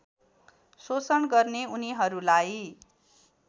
शोषण गर्ने उनीहरूलाई